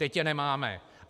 Teď je nemáme.